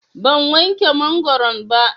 Ban wanke mangoron ba.